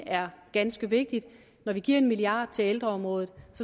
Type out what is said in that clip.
er ganske vigtigt er når vi giver en milliard til ældreområdet